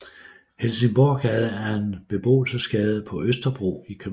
Helsingborggade er en beboelsesgade på Østerbro i København